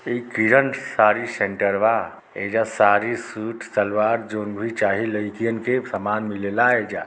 ये किरण साडी सेंटर वा एईजा साडी सूट सलवार जॉन भी चाही लईकीयन के सामन मिले ला एईजा --